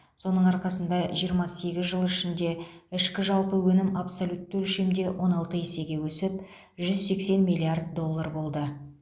соның арқасында жиырма сегіз жыл ішінде ішкі жалпы өнім абсолютті өлшемде он алты есеге өсіп жүз сексен миллиард доллар болды